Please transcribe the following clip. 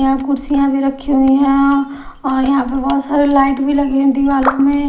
यहां कुर्सियां भी रखी हुए हैं और यहां पे बहुत सारी लाइट भी लगी है दीवालों में--